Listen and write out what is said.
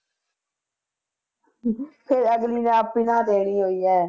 ਫਿਰ ਅਗਲੀ ਨੇ ਦੇਣੀ ਹੋਈ ਹੈ